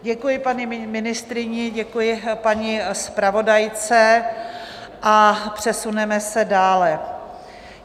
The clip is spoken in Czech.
Děkuji paní ministryni, děkuji paní zpravodajce a přesuneme se dále.